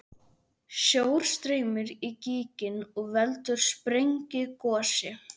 Sjór streymir í gíginn og veldur sprengigosi.